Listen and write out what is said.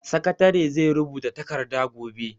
Sakatare zai rubuta takarda gobe.